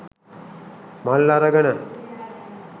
මල් අරගෙන